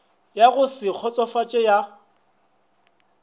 ya go se kgotsofatše ya